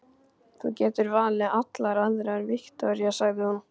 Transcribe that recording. Þú getur valið allar aðrar, Viktoría, sagði hún.